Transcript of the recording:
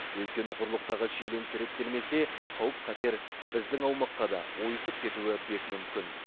өйткені құрлықтағы шиеленіс реттелмесе қауіп қатер біздің аумаққа да ойысып кетуі бек мүмкін